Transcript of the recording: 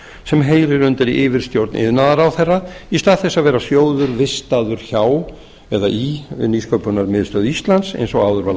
sem heyrir undir yfirstjórn iðnaðarráðherra í stað þess að vera sjóður vistaður hjá eða í nýsköpunarmiðstöð íslands eins og áður var